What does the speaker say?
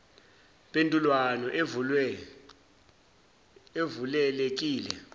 mpendulwano evule lekile